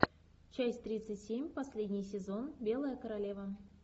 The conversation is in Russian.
часть тридцать семь последний сезон белая королева